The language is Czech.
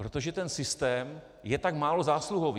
Protože ten systém je tak málo zásluhový.